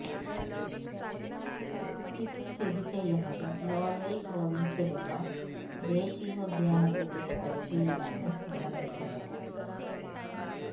ഇത് സ്ഥിതി ചെയ്യുന്നത് ലോയെയ് പ്രോവിൻസിലുള്ള ഇത് ദേശീയോദ്യാനത്തിൻറെ പരിധിയിലാണ് നിലനിൽക്കുന്നത്